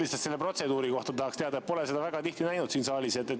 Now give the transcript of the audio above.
Lihtsalt selle protseduuri kohta tahaksin teada, pole seda väga tihti näinud siin saalis.